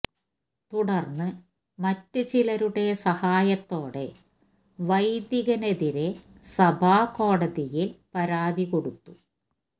തുടർന്ന് മറ്റു ചിലരുടെ സഹായത്തോടെ വൈദികനെതിരെ സഭാ കോടതിയിൽ പരാതി കൊടുത്തു